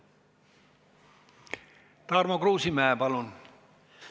Tarmo Kruusimäe, palun!